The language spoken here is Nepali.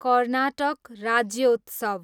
कर्नाटक राज्योत्सव